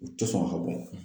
U tɛ sɔn ka bɔn.